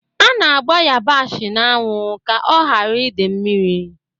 A na-agba ịyabasị n'anwụ ka ọ ghara ide mmiri.